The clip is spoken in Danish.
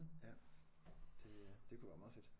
Ja det øh det kunne være meget fedt